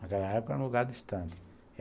Naquela época era um lugar distante.